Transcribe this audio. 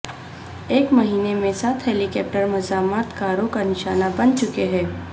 ایک مہینے میں سات ہیلی کاپٹر مزاحمت کاروں کا نشانہ بن چکے ہیں